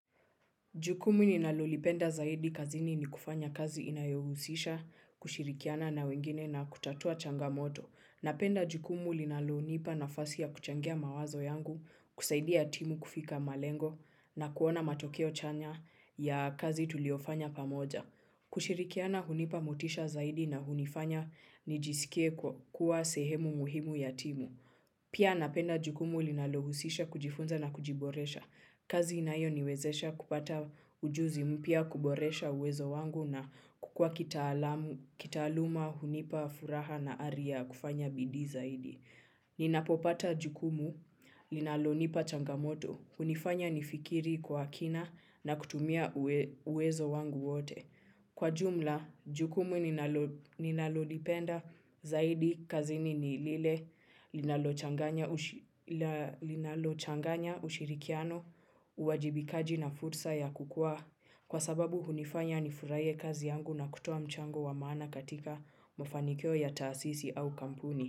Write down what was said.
Jukumu ninalolipenda zaidi kazini ni kufanya kazi inayohusisha, kushirikiana na wengine na kutatua changamoto. Napenda jukumu linalonipa nafasi ya kuchangia mawazo yangu, kusaidia timu kufika malengo na kuona matokeo chanya ya kazi tuliofanya pamoja. Kushirikiana hunipa motisha zaidi na hunifanya nijisikie kuwa sehemu muhimu ya timu. Pia napenda jukumu linalohusisha kujifunza na kujiboresha. Kazi inayoniwezesha kupata ujuzi mpya wa kuboresha uwezo wangu na kukua kitaalamu, kitaaluma, hunipa furaha na ari ya kufanya bidii zaidi. Ninapopata jukumu linalonipa changamoto, hunifanya nifikiri kwa kina na kutumia uwezo wangu wote. Kwa jumla, jukumu ninalo ninalolipenda zaidi kazi nini lile linalochanganya ushirikiano, uwajibikaji na fursa ya kukua kwa sababu hunifanya nifurahie kazi yangu na kutoa mchango wa maana katika mafanikio ya taasisi au kampuni.